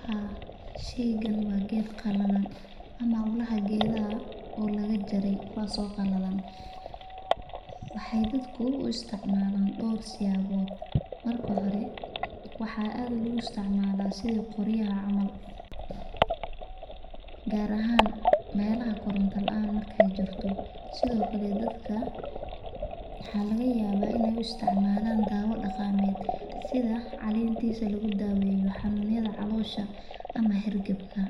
Haa sheeygan waa geed qalalan ama ulaha geedaha oo laga jare kuwaas oo qalalan, waxeey dadku u isticmaalan door siyaabood, marka hore waxaa aad loogu isticmaalaa qoryaha camal, gaar ahaan meelaha koranta laan markaay jirto, sido kale dadka waxaa laga yaaba inaay u isticmaalan daawa daqameed sida caleentiisa lagu daaweyo xanunyada caloosha ama hergebka,